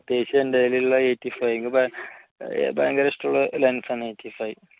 പ്രത്യേകിച്ച് എൻറെ കയ്യിൽ ഉള്ള eighty five ഭയങ്കര ഇഷ്ടമുള്ള lense ആണ്